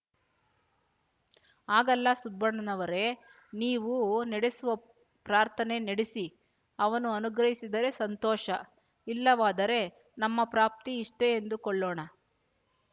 ಹಾಗಲ್ಲ ಸುಬ್ಬಣ್ಣನವರೆ ನೀವು ನಡೆಸುವ ಪ್ರಾರ್ಥನೆ ನಡೆಸಿ ಅವನು ಅನುಗ್ರಹಿಸಿದರೆ ಸಂತೋಷ ಇಲ್ಲವಾದರೆ ನಮ್ಮ ಪ್ರಾಪ್ತಿ ಇಷ್ಟೇ ಎಂದುಕೊಳ್ಳೋಣ